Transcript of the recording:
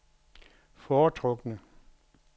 foretrukne